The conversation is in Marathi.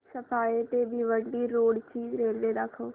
सफाळे ते भिवंडी रोड ची रेल्वे दाखव